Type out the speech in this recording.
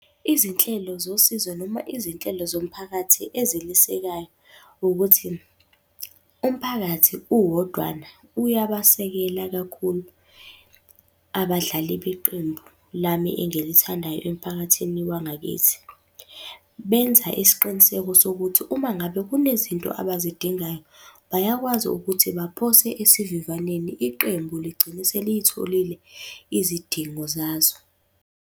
Izinhlelo zosizo noma izinhlelo zomphakathi ezilisekayo, ukuthi, umphakathi uwodwana uyabasekela kakhulu abadlali beqembu lami engilithandayo emphakathini wangakithi. Benza isiqiniseko sokuthi uma ngabe kunezinto abazidingayo, bayakwazi ukuthi baphose esivivaneni iqembu ligcine seliyitholile izidingo zazo.